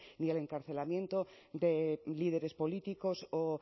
ni el encarcelamiento de líderes políticos o